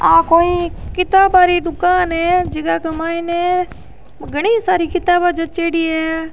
आ कोई किताबे री दुकान है जका के मायने घनी सारी किताबा जच्येड़ी है।